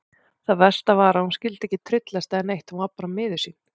Það versta var að hún skyldi ekki tryllast eða neitt, hún var bara miður sín.